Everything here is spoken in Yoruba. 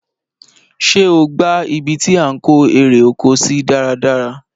Ṣé o gbá ibi tí à ń kó eré oko sí dáradára?